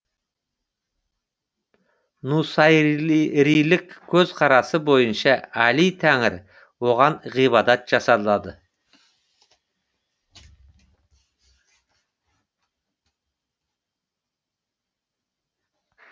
нусайрилік көзқарасы бойынша әли тәңір оған ғибадат жасалады